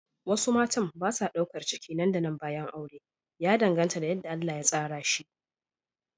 Wasu matan ba sa daukar ciki nan da nan bayan aure, ya danganta da yadda Allah ya tsara shi.